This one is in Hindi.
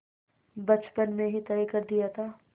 बचपन में ही तय कर दिया था